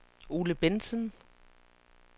Ole Bentzen